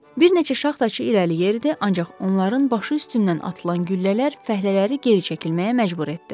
Bir neçə şaxtaçı irəli gəlirdi, ancaq onların başı üstündən atılan güllələr fəhlələri geri çəkilməyə məcbur etdi.